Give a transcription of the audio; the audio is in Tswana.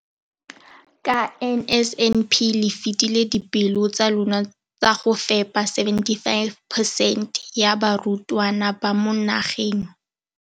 Ka NSNP le fetile dipeelo tsa lona tsa go fepa 75 percent ya barutwana ba mo nageng.